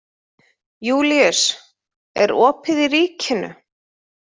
Júlíus, er opið í Ríkinu?